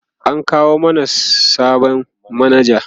an kawo mana sabon manaja